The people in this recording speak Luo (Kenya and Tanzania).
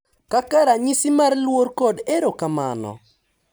Kaka ranyisi mar luor kod erokamano